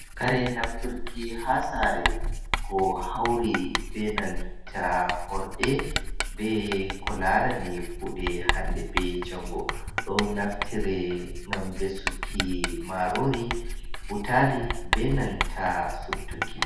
Kare nafturki ha saare, ko hauri be nanta horde, be ko larani kuuɗe hande be jango. Ɗo naftire ngam vesuki maarori, butali, be nanta sottuki.